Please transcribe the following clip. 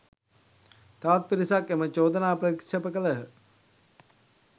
තවත් පිරිසක් එම චෝදනාව ප්‍රතික්ෂේප කළහ